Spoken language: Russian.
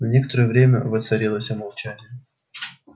на некоторое время воцарилось молчание